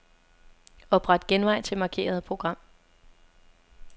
Opret genvej til markerede program.